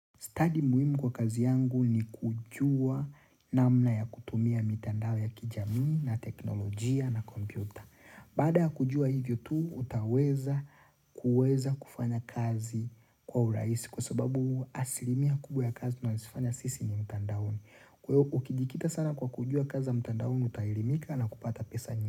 Study muhimu kwa kazi yangu ni kujua namna ya kutumia mitandao ya kijami na teknolojia na kompyuta. Bada kujua hivyo tu, utaweza kuweza kufanya kazi kwa urahisi. Kwa sababu asilimia kubwa ya kazi, tunasifanya sisi ni mitandaoni. Ukidikita sana kwa kujua kazi mitandaoni, utaelimika na kupata pesa nyingi.